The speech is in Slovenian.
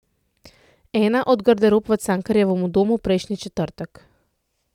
Ena od garderob v Cankarjevem domu prejšnji četrtek.